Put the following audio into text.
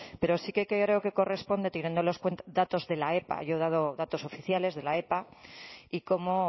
pero sí que creo que corresponde teniendo los datos de la epa yo he dado datos oficiales de la epa y cómo